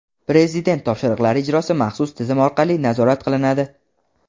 Prezident topshiriqlari ijrosi maxsus tizim orqali nazorat qilinadi.